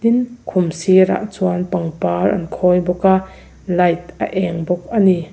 tin khum sirah chuan pangpar an khawi bawk a light a eng bawk ani.